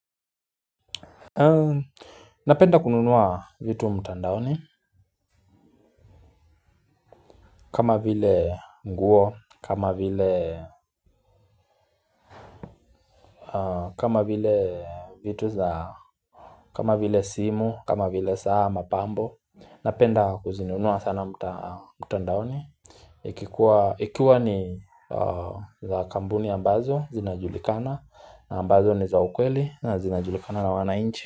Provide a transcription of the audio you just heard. Napenda kununua vitu mtandaoni. Kama vile nguo, kama vile simu, kama vile saa mapambo. Napenda kuzinunua sana mtandaoni ikikua. Ikiwa ni za kambuni ambazo zinajulikana ambazo ni za ukweli na zinajulikana na wanainchi.